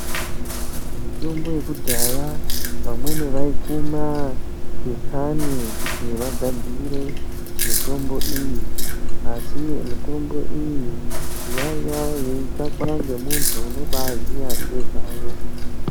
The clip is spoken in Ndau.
Mitombo yekudhaya vamweni vaikuma ngetsani kuti vagadzire mitombo iyi asi mitombo iyi yaiya yeitsvakwa nemunthu unoziya nezvayo.